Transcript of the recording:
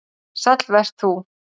Sæll vert þú